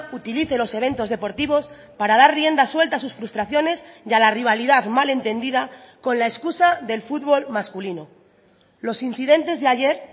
utilice los eventos deportivos para dar rienda suelta a sus frustraciones y a la rivalidad mal entendida con la excusa del fútbol masculino los incidentes de ayer